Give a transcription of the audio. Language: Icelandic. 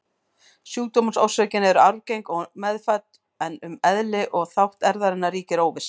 Sjúkdómsorsökin er arfgeng og meðfædd, en um eðli og þátt erfðarinnar ríkir óvissa.